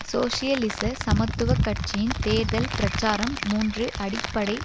சோசியலிச சமத்துவ கட்சியின் தேர்தல் பிரச்சாரம் மூன்று அடிப்படை